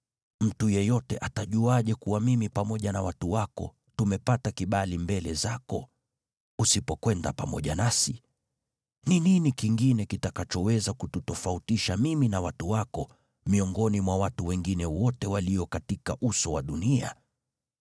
Mtu yeyote atajuaje kuwa mimi pamoja na watu wako tumepata kibali mbele zako, usipokwenda pamoja nasi? Ni nini kingine kitakachoweza kututofautisha mimi na watu wako miongoni mwa watu wengine wote walio katika uso wa dunia?”